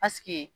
Paseke